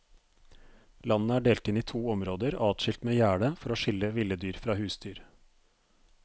Landet er delt inn i to områder adskilt med gjerde for å skille ville dyr fra husdyr.